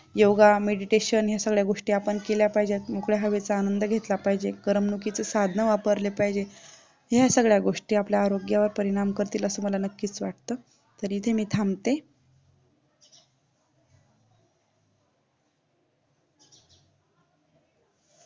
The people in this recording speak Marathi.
योगा meditation आपण या सगळ्या गोष्टी केल्या पाहिजेत मोकळ्या हवेचा आनंद घेतला पाहिजे करमणुकीची साधना वापरली पाहिजे या सगळ्या गोष्टी आपल्या आरोग्यावरती परिणाम करतील असं मला नक्कीच वाटतं तरी त्यांनी थांबते